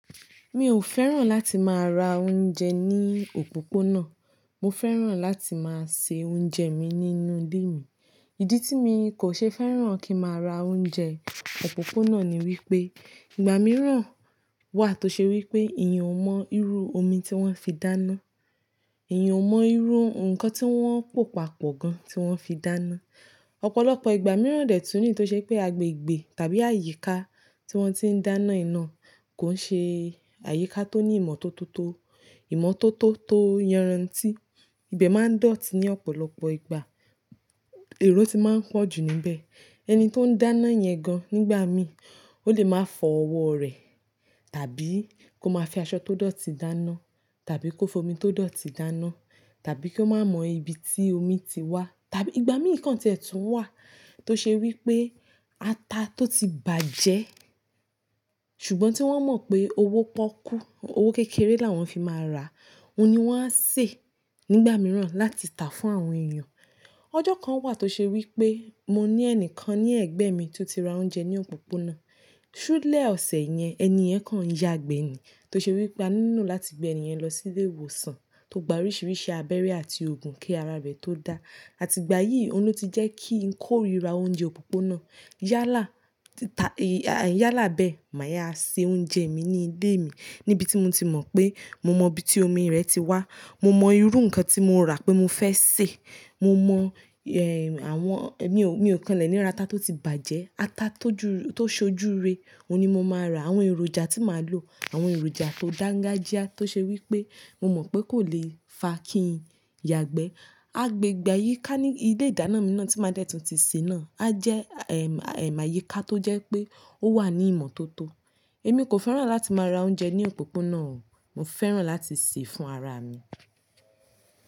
Mi ò fẹ́ràn láti máa ra oúnjẹ ní òpópónà. Mo fẹ́ràn láti máa se oúnjẹ mi nínú ilé mi. Ìdí tí mi kò ṣe fẹ́ràn kí máa ra oúnjẹ òpópónà ni wípé ìgbà mìíràn wà tó ṣe wípé èèyàn ò mọ́ irú omi tí wọ́n fi dáná, èèyàn ò mọ́ irú nǹkan tí wọ́n pò pa pọ̀ gan tí wọ́n fi dáná. Ọ̀pọ̀lọpọ̀ ìgbà mìíràn dẹ̀ tún ní tó ṣe pé agbègbè tàbí àyíká tí wọ́n ti ń dáná yii na kò ń ṣe àyíká tó ní ìmọ́tótó tó-- ìmọ́tótó tó yanran tí. Ibẹ máa ń dọ̀tí ní ọ̀pọ̀lọpọ̀ ìgbà. Èrò ti máa ń pọ̀ jù níbẹ̀. Ẹni tó ń dáná yẹn gan nígbà mi, ó lè máa fọ ọwọ́ rẹ tàbí kó máa fi aṣọ tó dọ̀tí dáná, tàbí kó fo omi tó dọ̀tí dáná, tàbí kó máa mọ ibi tí omi ti wá, tàbí ìgbà mìí kan tí ẹ tùn wà tó ṣe wípé ata tó ti bàjẹ́ ṣùgbọ́n tí wọ́n mọ̀ pé owó pọ́kú, owó kékeré là wọ́n fi máa rà á. Óun ni wọ́n á sè nígbà mìíràn láti tà fún àwọn èèyàn. Ọjọ́ kan wà tó ṣe wípé mo ní ẹnìkan ní ẹ̀gbẹ́ mi tó ti ra oúnjẹ ní òpópónà. Ṣúlẹ̀ ọ̀sẹ̀ yẹn, ẹni yẹn kàn yagbẹ́ ni. Tó ṣe wípé a nílo láti gbé ẹni yẹn lọ sí ilé ìwòsàn tó gba oríṣiríṣi abẹ́rẹ́ àti òògùn kí ara rẹ̀ tó dá. Àti ìgbà yìí, óun ní o ti jẹ́ kí n kórìíra oúnjẹ òpópónà. Yálà, tá-- èy-- à, yálà bẹ́ẹ̀, màá yáa se oúnjẹ mi ní ilé mi níbi tí mo ti mọ̀ pé mo mọ ibi tí omi rẹ̀ ti wá, mo mọ irú nǹkan tí mo rà pé mo fẹ́ sè, mo mọ, ẹ́, àwọn-- mi ò, mi ò kanlẹ̀ ní ra ata tó ti bàjẹ́, ata tó jú-- tó ṣojúre, òun ni mo máa rà. Àwọn èròjà tí màá lò, àwọn èròjà tó dángájíá tó ṣe wípé mo mọ̀ pé kò lè fa kí n yagbẹ́. Agbegbe ayìká ní ilé ìdáná mi náà tí máa dẹ́ tun tì sé náà. A jẹ́, ẹ́,--- àyíká tó jẹ́ pé ó wà ní ìmọ́tótó. Èmi kò fẹ́ràn láti máa ra oúnjẹ ní òpópónà o. Mo fẹ́ràn láti sè fún ara mi.